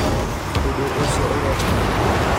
Ūndũ ũcio ũrekĩkĩra ku?